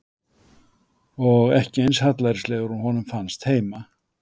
Og ekki eins hallærislegar og honum fannst heima.